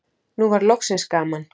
Nú var loksins gaman.